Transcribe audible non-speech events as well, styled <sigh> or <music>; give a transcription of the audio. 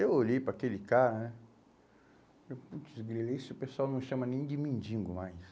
Eu olhei para aquele cara né e falei, <unintelligible> o pessoal não chama nem de mendigo mais.